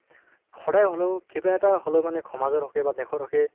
সদায় হলেও কিবা এটা হলেও সমজৰ হকে বা দেশৰ হকে